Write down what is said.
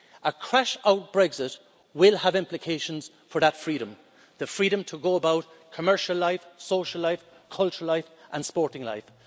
A crash-out Brexit will have implications for that freedom the freedom to go about commercial life, social life, cultural life and sporting life.